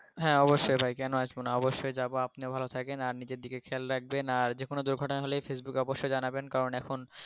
হ্যা অবশ্যই ভাই কেন আসবো না অবশ্যই যাবো আপনিও ভালো থাকেন আর নিজের দিকে খেয়াল রাখবেন আর যেকনো দূর্ঘটনা হলে ফেইসবুকে অবশ্যই জানাবেন কারন এখন